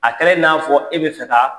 A kɛra n'a fɔ e bɛ fɛ ka